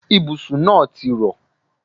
Ibùsùn náà ti rọ̀.